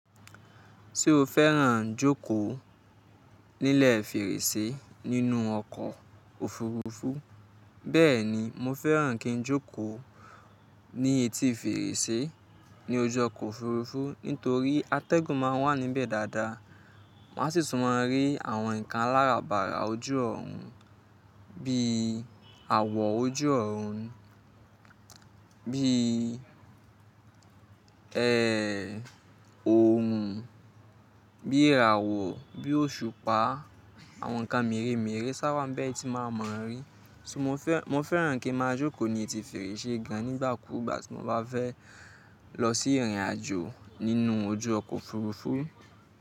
Ṣé o fẹ́ràn jókòó nílẹ̀ fèrèsé nínú ọkọ̀ òfurufú? Bẹ́ẹ̀ni, mo fẹ́ràn kín jókòó ní etí fèrèsé ní ojú ọkọ̀ òfurufú nítorí atẹ́gùn ma wà níbẹ̀ dáadáa. Má sì tún máa rí àwọn nǹkan aláràbarà ojú ọ̀run bí awọ ojú ọ̀run, bí ẹ, òòrùn, bí iràwọ̀, bí òṣùpá, àwọn nǹkan meremerẹ sá wa n be tí màá ma ri. Mo fẹ́ràn kí màá jókòó ní etí fèrèsé gan nígbà kúùgbà tí mo bá fẹ́ lọ sí ìrìnàjò nínú ojú ọkọ̀ òfurufú.